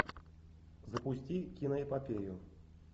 запусти киноэпопею